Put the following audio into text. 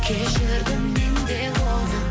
кешірдім мен де оны